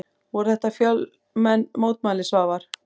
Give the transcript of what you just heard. Voru þetta fjölmenn mótmæli Svavar?